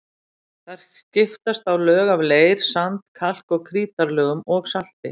Þar skiptast á lög af leir-, sand-, kalk- og krítarlögum og salti.